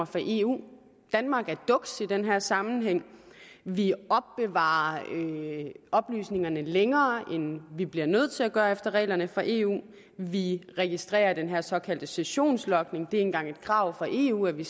fra eu danmark er duks i den her sammenhæng vi opbevarer oplysningerne længere end vi bliver nødt til at gøre efter reglerne fra eu vi registrerer den her såkaldte sessionslogning og det engang et krav fra eu at vi